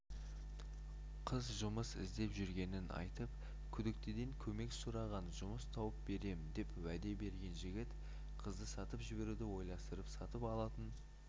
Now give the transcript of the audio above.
қыз жұмыс іздеп жүргенін айтып күдіктіден көмек сұраған жұмыс тауып берем деп уәде берген жігіт қызды сатып жіберуді ойластырып сатып алатын